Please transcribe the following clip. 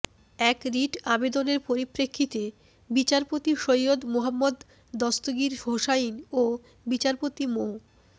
এক রিট আবেদনের পরিপ্রেক্ষিতে বিচারপতি সৈয়দ মোহাম্মদ দস্তগীর হোসাইন ও বিচারপতি মো